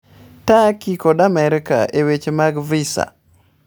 Turkey kod Amerka e weche mag visa